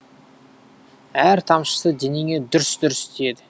әр тамшысы денеңе дүрс дүрс тиеді